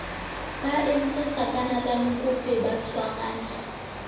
ba entse sakanalankope ba tshwarane